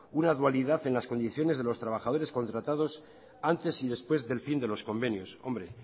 una dualidad en las condiciones de los trabajadores contratados antes y después del fin de los convenios hombre